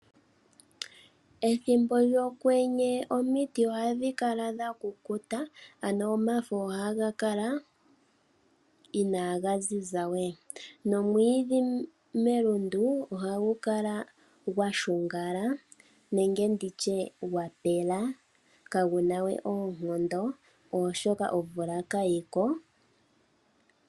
Ethimbo lyokwenye omiti ohadhi kala dha kukuta, ano omafo ohaga kala inaaga ziza we nomwiidhi melundu ohagu kala gwa shungala nenge gwa pela kaagu na we oonkondo, oshoka omvula kayi ko.